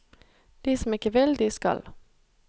De som ikke vil, de skal.